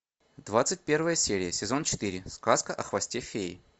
двадцать первая серия сезон четыре сказка о хвосте феи